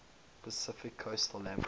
pacific coast league